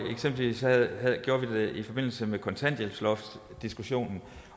eksempelvis i forbindelse med kontanthjælpsloftdiskussionen